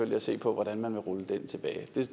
vil se på hvordan man ruller den tilbage